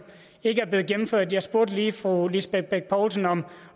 ikke er blevet gennemført jeg spurgte lige fru lisbeth bech poulsen om